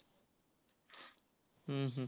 हम्म